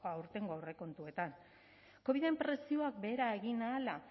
aurtengo aurrekontuetan coviden presioak behera egin ahala